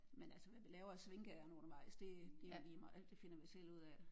Men altså hvad vi laver af svinkeærinder undervejs det det er jo ligemeget det finder vi selv ud af